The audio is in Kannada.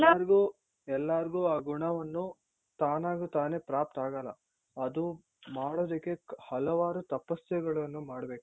ಎಲ್ಲಾರ್ಗು ಎಲ್ಲಾರ್ಗು ಆ ಗುಣವನ್ನು ತಾನಾಗೆ ತಾನೇ ಪ್ರಾಪ್ತ್ ಆಗಲ್ಲ ಅದು ಮಾಡೋದಿಕ್ಕೆ ಹಲವಾರು ತಪಾಸ್ಸೆಗಳನ್ನು ಮಾಡ್ಬೇಕು.